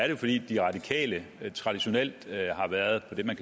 jo fordi de radikale traditionelt har været på det man